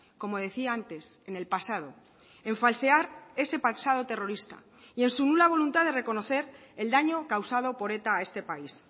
como decía antes en el pasado en falsear ese pasado terrorista y en su nula voluntad de reconocer el daño causado por eta a este país